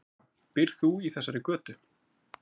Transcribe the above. Helga: Býrð þú í þessari götu?